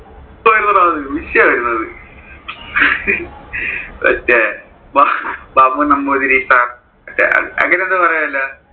അത് വിഷയം ആയിരുന്നു അത് മറ്റേ ബാബു നംബൂതിരി സർ, അഹ് അങ്ങനെ എന്തോ പറയോലോ.